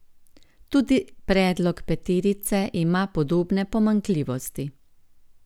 Tudi predlog peterice ima podobne pomanjkljivosti.